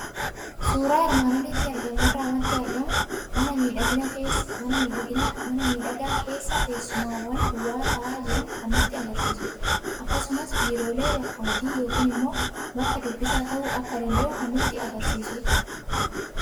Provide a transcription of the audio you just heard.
Suuraa armaan olitti argamu irraa waanti argamu; mana miidhagaa keessa teessumawwan duwwaa taa'a jiran kan nutti agarsiisudha. Akkasumas biiroolee bakka hojii yookiin immoo bakka dubbisaa ta'uu akka danda'u kan nutti agarsiisudha.